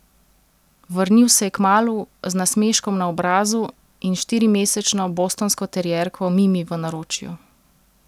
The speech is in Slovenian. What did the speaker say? Vrnil se je kmalu, z nasmeškom na obrazu in štirimesečno bostonsko terierko Mimi v naročju.